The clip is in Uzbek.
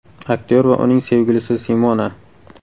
Aktyor va uning sevgilisi Simona.